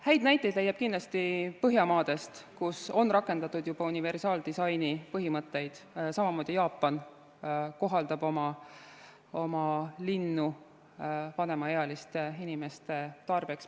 Häid näiteid leiab kindlasti Põhjamaadest, kus on rakendatud juba universaaldisaini põhimõtteid, samamoodi kohandab Jaapan oma linnu vanemaealiste inimeste tarbeks.